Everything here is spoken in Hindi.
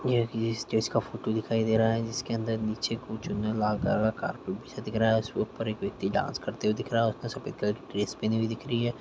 ये स्टेज का फोटो दिखाई दे रहा है जिसके अंदर नीचे को चुन्ने लाल काला कार्पेट बिछा दिख रहा है और उसके ऊपर एक व्यक्ति डांस करते हुए दिख रहा है और उसने सफेद कलर की ड्रेस पहनी हुई दिख रही है।